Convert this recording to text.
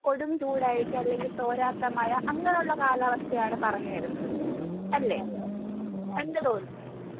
കൊടുംചൂട് ആയിരിക്കും അല്ലെങ്കിൽ തോരാത്ത മഴ അങ്ങനെയൊള്ള കാലാവസ്ഥയാണ് പറഞ്ഞുവരുന്നത് അല്ലേ? എന്തു തോന്നുന്നു?